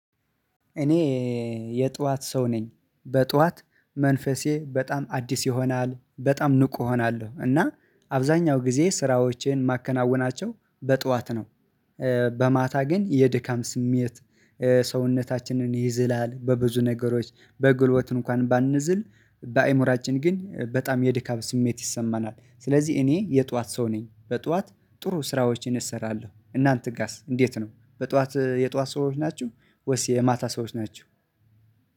እኔ የጧት ሰው ነኝ። በጧት መንፈሴ በጣም አዲስ ይሆናል በጣም ንቁ እሆናለሁ እና አብዛኛው ጊዜ ስራዎቼን ማከናውናቸው በጧት ነው። በማታ ግን የድካም ስሜት ሰውነታችንን ይዝላል በብዙ ነገሮች በጉልበት እንኳን ባንዝል በአእምሮአችን ግን በጣም የድካም ስሜት ይሰማናል ስለዚህ እኔ የጧት ሰው ነኝ። በጧት ጥሩ ስራዎችን እሰራለሁ እናንተ ጋስ እንዴት ነው በጧት የጧት ሰዎች ናችሁ? ወይስ የማታ ሰዎች ናችሁ?